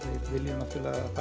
það vilja náttúrulega